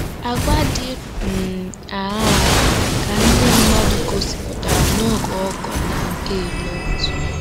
Àgwà dị um aṅaa ka ndị mmadụ gosipụtara n'oge Ọkọ na nke Lọt?